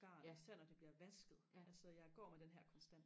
garn selv når det bliver vasket altså jeg går med den her konstant